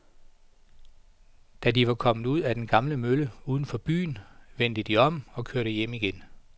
Da de var kommet ud til den gamle mølle uden for byen, vendte de om og kørte hjem igen.